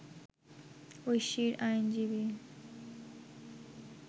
ঐশীর আইনজীবী